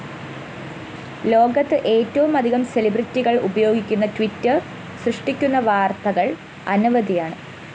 ലോകത്ത് ഏറ്റവുമധികം സെലിബ്രിറ്റികള്‍ ഉപയോഗിക്കുന്ന ട്വിറ്റർ സൃഷ്ടിക്കുന്ന വാര്‍ത്തകള്‍ അനവധിയാണ്